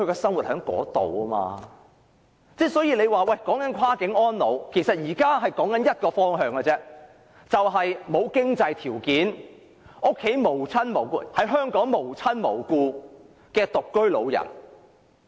所以，現在辯論的"跨境安老"只有一個方向，就是沒有經濟條件、在香港無親無故的獨居老人。